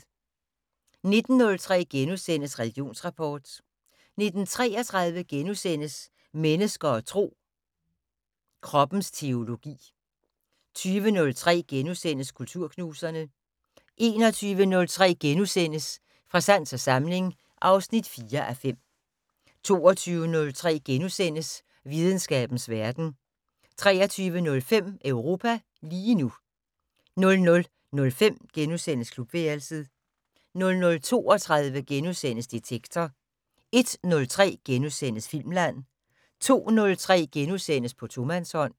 19:03: Religionsrapport * 19:33: Mennesker og Tro: Kroppens teologi * 20:03: Kulturknuserne * 21:03: Fra sans og samling (4:5)* 22:03: Videnskabens Verden * 23:05: Europa lige nu * 00:05: Klubværelset * 00:32: Detektor * 01:03: Filmland * 02:03: På tomandshånd *